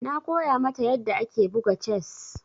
Na koya mata yadda ake buga chess.